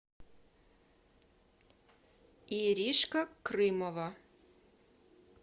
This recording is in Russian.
иришка крымова